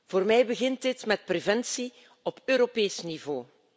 Voor mij begint dit met preventie op Europees niveau.